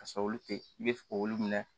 Ka sɔrɔ olu te i be se k'olu minɛ